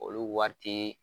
Olu wari tee